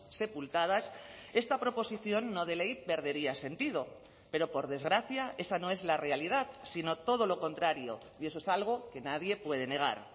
sepultadas esta proposición no de ley perdería sentido pero por desgracia esa no es la realidad sino todo lo contrario y eso es algo que nadie puede negar